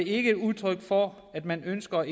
ikke et udtryk for at man ønsker